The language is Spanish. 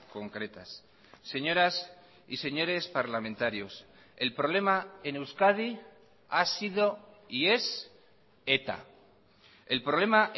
concretas señoras y señores parlamentarios el problema en euskadi ha sido y es eta el problema